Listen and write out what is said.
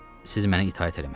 Siz mənə itaət eləməlisiniz.